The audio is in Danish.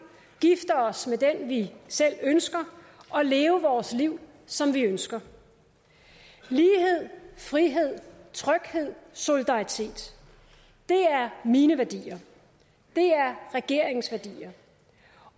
gifte os med den vi selv ønsker og leve vores liv som vi ønsker lighed frihed tryghed og solidaritet er mine værdier og regeringens værdier